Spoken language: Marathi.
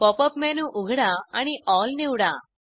पॉप अप मेनू उघडा आणि एल निवडा